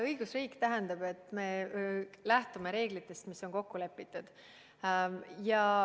Õigusriik tähendab, et me lähtume reeglitest, mis on kokku lepitud.